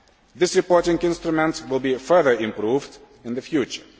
This reporting instrument will be further improved in the future.